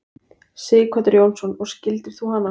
Sighvatur Jónsson: Og skildir þú hana?